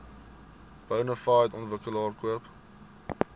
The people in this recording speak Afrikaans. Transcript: bonafide ontwikkelaar koop